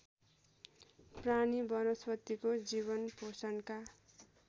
प्राणी वनस्पतिको जीवनपोषणका